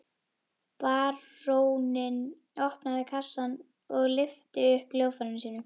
Baróninn opnaði kassann og lyfti upp hljóðfæri sínu.